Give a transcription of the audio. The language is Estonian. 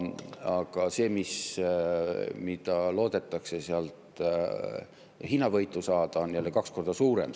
Aga see hinnavõit, mida loodetakse sealt saada, on kaks korda suurem.